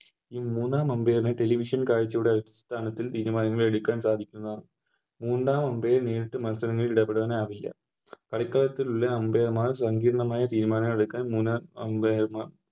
ഈ മൂന്നാം Umpire നെ Television കാഴ്ച്ചയുടെ അടിസ്ഥാനത്തിൽ തീരുമാനങ്ങൾ എടുക്കാൻ സാധിക്കുന്നതാണ് മൂന്നാം Umpire ന് നേരിട്ട് മത്സരങ്ങളിൽ ഇടപെടാൻ ആവില്ല കളിക്കളത്തിൽ ഇള്ള Umpire മാർ സംഗീർണ്ണമായ തീരുമാനങ്ങളെടുക്കാൻ മൂന്നാം Umpire മാർ